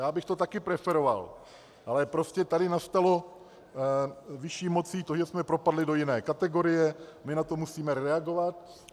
Já bych to taky preferoval, ale prostě tady nastalo vyšší mocí to, že jsme propadli do jiné kategorie, my na to musíme reagovat.